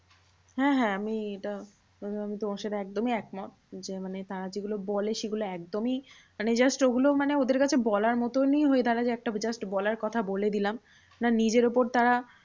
হ্যাঁ হ্যাঁ আমি এটা তোমার সাথে একদমই একমত। যে মানে তারা যেগুলো বলে সেগুলো একদমই মানে just ওগুলো মানে ওদের কাছে বলার মতনই হয়ে দাঁড়ায় যে, একটা বিরাট বলার কথা বলে দিলাম। সেটা নিজের ওপর তারা